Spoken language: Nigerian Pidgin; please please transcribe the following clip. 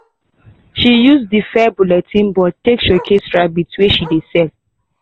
she use di fair bulletin board take showcase rabbit wey she dey sell.